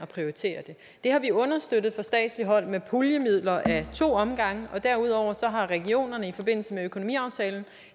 prioritere det det har vi understøttet fra statsligt hold med puljemidler ad to omgange derudover har regionerne i forbindelse med økonomiaftalen